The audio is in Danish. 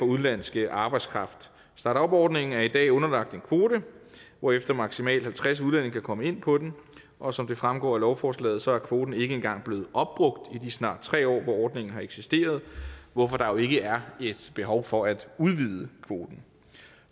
udenlandske arbejdskraft startupordningen er i dag underlagt en kvote hvorefter maksimalt halvtreds udlændinge kan komme ind på den og som det fremgår af lovforslaget er kvoten ikke engang blevet opbrugt i de snart tre år som ordningen har eksisteret hvorfor der jo ikke er behov for at udvide kvoten